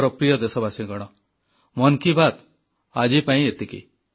ମୋର ପ୍ରିୟ ଦେଶବାସୀଗଣ ମନ୍ କି ବାତ୍ ଆଜିପାଇଁ ଏତିକି